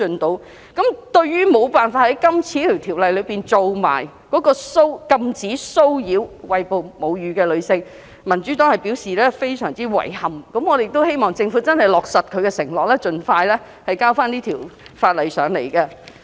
對於無法在《條例草案》一併禁止騷擾餵哺母乳的女性，民主黨表示非常遺憾，希望政府落實承諾，盡快提交有關法案。